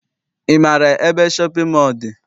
Ị maara ebe shọpịn mọọ dị?